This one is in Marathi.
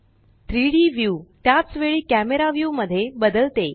3डी व्यू त्याच वेळी कॅमरा व्यू मध्ये बदलते